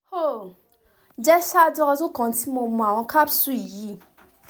o jẹ ṣaaju ọdun kan ti mo mu awọn capsules yii